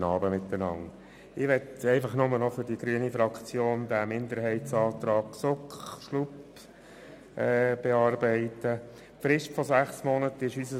Zum Minderheitsantrag der GSoK aus Sicht der grünen Fraktion: Der Minderheitsantrag der GSoK will die Frist von sechs Monaten streichen.